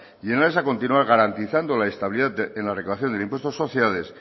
y en aras a continuar garantizando la estabilidad en la recaudación del impuesto de sociedades